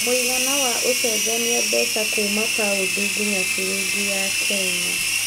mũigana wa ũcenjanĩa mbeca Kuma paũndi ngĩnya ciringi ya Kenya